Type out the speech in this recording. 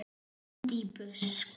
Útí busk.